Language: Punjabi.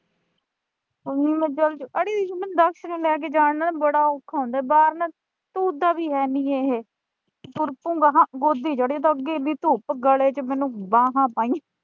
ਅੜੀਏ ਮੁੰਡੇ ਨੂੰ ਲੈ ਕੇ ਜਾਣਾ ਨਾ ਬੜਾ ਔਖਾ ਹੁੰਦਾ ਬਾਹਰ ਨਾ ਤੁਰਦਾ ਵੀ ਹੈਨੀਂ ਇਹੇ। ਤੁਰ ਪੂੰ ਗਾ ਆਂਹਾਂ, ਗੋਦੀ ਚੜੂੰ, ਅੱਗੇ ਇੱਡੀ ਧੁੱਪ ਗਲੇ ਚ ਮੈਨੂੰ ਬਾਹਾਂ ਪਾਈਆਂ